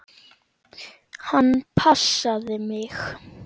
Hann passaði mig.